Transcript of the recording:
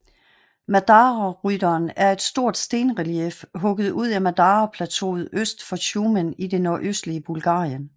Madararytteren er et stort stenrelief hugget ud i Madara Plateauet øst for Shumen i det nordøstlige Bulgarien